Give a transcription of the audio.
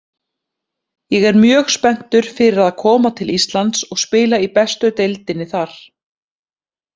Ég er mjög spenntur fyrir að koma til Íslands og spila í bestu deildinni þar.